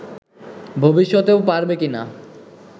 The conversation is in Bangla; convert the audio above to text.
ভবিষ্যতেও পারবে কি-না